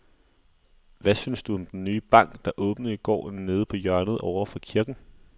Hvad synes du om den nye bank, der åbnede i går dernede på hjørnet over for kirken?